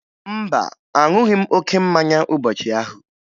Mba, aṅụghị m oke mmanya ụbọchị ahụ